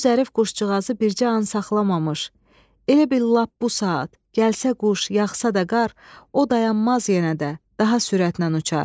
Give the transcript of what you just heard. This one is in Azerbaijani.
O zərif quşcuğazı bircə an saxlamamış, elə bil lap bu saat gəlsə quş, yağsa da qar, o dayanmaz yenə də, daha sürətlə uçar.